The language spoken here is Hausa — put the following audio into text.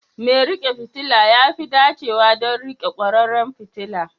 Mai riƙe fitila ya fi dacewa don riƙe kwararan fitila.